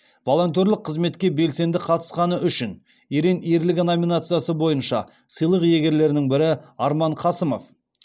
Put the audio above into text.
волонтерлік қызметке белсенді қатысқаны үшін ерен ерлігі номинациясы бойынша сыйлық иегерлерінің бірі арман қасымов